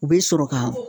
U bɛ sɔrɔ ka